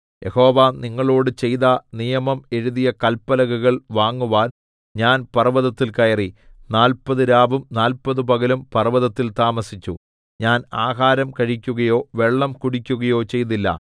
യഹോവ നിങ്ങളോട് ചെയ്ത നിയമം എഴുതിയ കല്പലകകൾ വാങ്ങുവാൻ ഞാൻ പർവ്വതത്തിൽ കയറി നാല്പത് രാവും നാല്പത് പകലും പർവ്വതത്തിൽ താമസിച്ചു ഞാൻ ആഹാരം കഴിക്കുകയോ വെള്ളം കുടിക്കുകയോ ചെയ്തില്ല